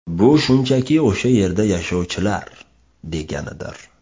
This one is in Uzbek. Bu shunchaki o‘sha yerda yashovchilar, deganidir.